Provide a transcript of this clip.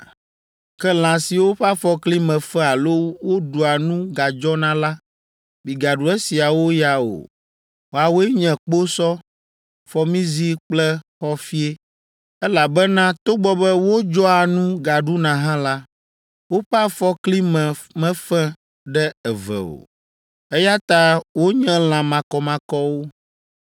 Ke lã siwo ƒe afɔkli me fe alo woɖua nu gadzɔna la, migaɖu esiawo ya o, woawoe nye kposɔ, fɔmizi kple xɔfie, elabena togbɔ be wodzɔa nu gaɖuna hã la, woƒe afɔkli me mefe ɖe eve o, eya ta wonye lã makɔmakɔwo.